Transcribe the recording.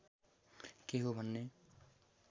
के हो भने